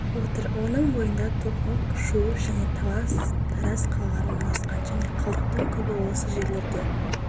отыр оның бойында токмок шу және талас тараз қалалары орналасқан және қалдықдың көбі осы жерлерде